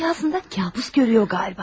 Rüyasında kabus görüyor qaba.